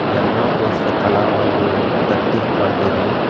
demo ತೋರ್ಸಲತ್ತಾನ ಒಂದು ತಟ್ಟಿದ್ ಕೊಂಡಿದೂ--